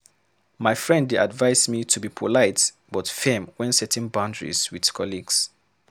My friend dey advise me to be polite but firm when setting boundaries with colleagues.